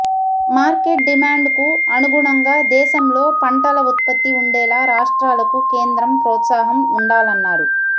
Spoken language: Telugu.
మార్కెట్ డిమాండ్ కు అనుగుణంగా దేశంలో పంటల ఉత్పత్తి ఉండేలా రాష్ట్రాలకు కేంద్రం ప్రోత్సాహం ఉండాలన్నారు